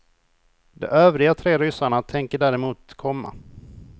De övriga tre ryssarna tänker däremot komma.